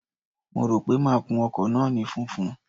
Mo rò pé máa kun ọkọ̀ náà ní funfun.